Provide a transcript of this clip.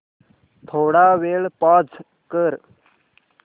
थोडा वेळ पॉझ कर